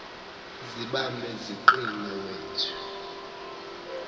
zibambe ziqine wethu